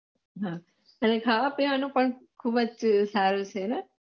હા અને ખાવા પીવાનુ પણ ખુબ જ સારુ છે ને